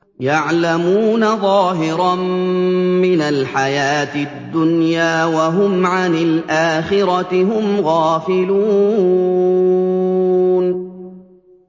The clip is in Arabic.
يَعْلَمُونَ ظَاهِرًا مِّنَ الْحَيَاةِ الدُّنْيَا وَهُمْ عَنِ الْآخِرَةِ هُمْ غَافِلُونَ